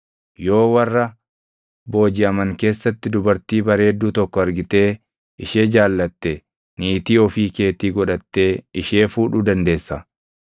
yoo warra boojiʼaman keessatti dubartii bareedduu tokko argitee ishee jaallatte niitii ofii keetii godhattee ishee fuudhuu dandeessa.